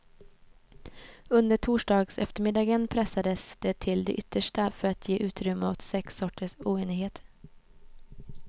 Under torsdagseftermiddagen pressades det till det yttersta för att ge utrymme åt sex sorters oenighet.